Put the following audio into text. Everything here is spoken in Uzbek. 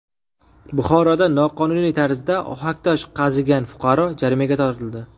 Buxoroda noqonuniy tarzda ohaktosh qazigan fuqaro jarimaga tortildi.